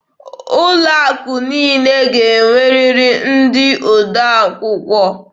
Ụlọ akụ niile ga-enwerịrị ndị odee akwụkwọ.